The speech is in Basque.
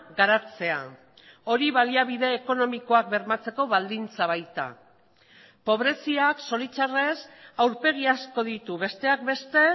garatzea hori baliabide ekonomikoak bermatzeko baldintza baita pobreziak zoritxarrez aurpegi asko ditu besteak beste